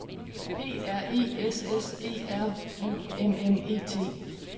P R E S S E R U M M E T